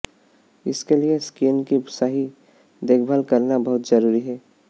इसके लिए स्किन की सही देखभाल करना बहुत जरूरी है